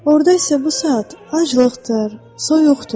Orda isə bu saat aclıqdır, soyuqdur.